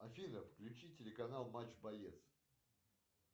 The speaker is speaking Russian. афина включи телеканал матч боец